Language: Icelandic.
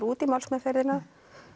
út í málsmeðferðina